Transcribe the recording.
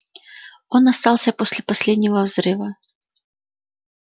он остался после последнего взрыва